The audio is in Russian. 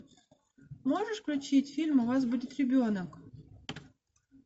можешь включить фильм у вас будет ребенок